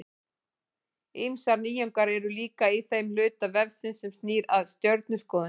Ýmsar nýjungar eru líka í þeim hluta vefsins sem snýr að stjörnuskoðun.